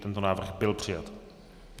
Tento návrh byl přijat.